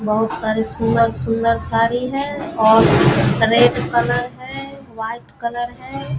बोहोत सारी सुंदर-सुंदर साड़ी है और रेड कलर है वाइट कलर है।